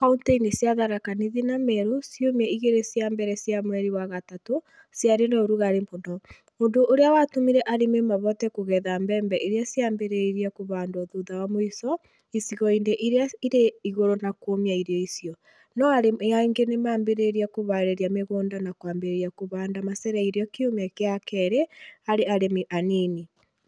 Kaunti-inĩ cia Tharaka Nithi na Meru, ciumia igĩrĩ cia mbere cia mweri wa gatatũ ciarĩ na ũrugarĩ mũno, ũndũ ũrĩa watũmire arĩmi mahote kũgetha mbembe iria ciambĩrĩirie kũhandwo thutha wa mũico icigo-inĩ iria irĩ igũrũ na kũũmia irio icio, no arĩmi aingĩ nĩ maambĩrĩirie kũhaarĩria mĩgũnda na kwambĩrĩria kũhanda macereirwo kiumia gĩa kerĩ harĩ arĩmi anini.